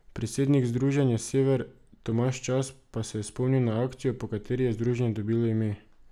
Predsednik Združenja Sever Tomaž Čas pa je spomnil na akcijo, po kateri je združenje dobilo ime.